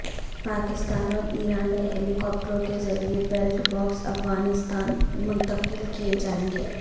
پاکستان اور ایران نے ہیلی کاپٹروں کے ذریعے بیلٹ بکس افغانستان منتقل کیے جائیں گے